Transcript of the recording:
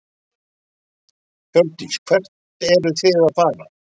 Hjördís: Hvert eruð þið að fara?